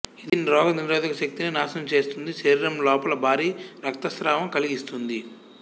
ఇది రోగనిరోధక శక్తిని నాశనం చేస్తుంది శరీరం లోపల భారీ రక్తస్రావం కలిగిస్తుంది